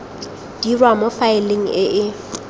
dirwa mo faeleng e e